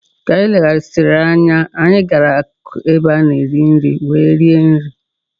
Ka anyị legharịsịrị anya, anyị gara n'akụkụ ebe a na-ere nri were rie nri.